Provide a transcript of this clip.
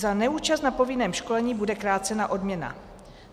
Za neúčast na povinném školení bude krácena odměna.